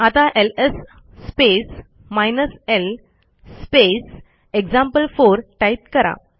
आता LS space hyphen l space example type करा